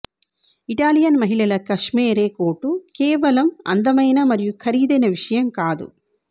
Italian మహిళల cashmere coat కేవలం అందమైన మరియు ఖరీదైన విషయం కాదు